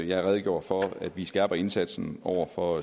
jeg redegjorde for at vi skærper indsatsen over for